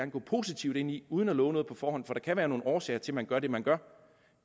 gå positivt ind i uden at love noget på forhånd for der kan være nogle årsager til at man gør det man gør